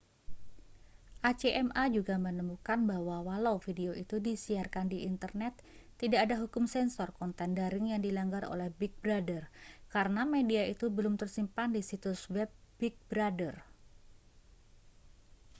acma juga menemukan bahwa walau video itu disiarkan di internet tidak ada hukum sensor konten daring yang dilanggar oleh big brother karena media itu belum tersimpan di situs web big brother